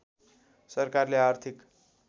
सरकारले आर्थिक